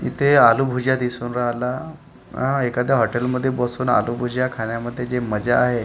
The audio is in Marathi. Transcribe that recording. इथे आलू भुजिया दिसून राहिला अ एखाद्या हॉटेल मध्ये बसून आलू भुजिया खाण्यामध्ये जी मजा आहे.